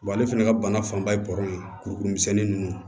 ale fɛnɛ ka bana fanba ye ye kurukuru misɛnni nunnu